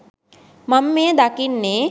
මම මෙය දකින්නේ.